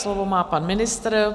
Slovo má pan ministr.